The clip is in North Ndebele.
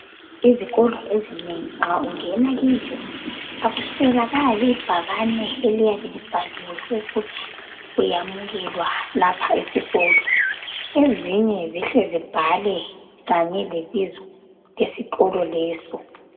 izikolo ezinengi nxa ungena kizo awusweli ibhakane eliyabe lisithi uyamukelile lapho esikolo ezinye zihle zibhalwe kanye lebizo laso leso sikolo